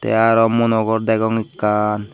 tey aro mono gor degong ekkan.